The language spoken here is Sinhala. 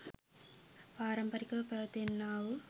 පාරම්පරිකව පැවැත එන්නා වූ